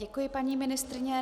Děkuji paní ministryni.